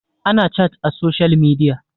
ana chat a social media